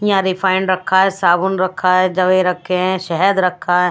यहां रिफाइंड रखा है साबुन रखा है जवे रखे हैं शेहेद रखा है।